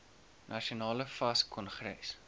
nasionale fas kongres